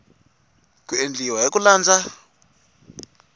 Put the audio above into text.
ku endliwa hi ku landza